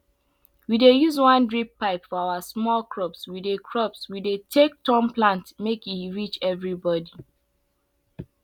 we dey use one drip water pipe for our small crops we dey crops we dey take turn plant make e reach everybody